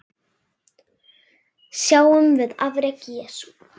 Sjáum við afrek Jesú?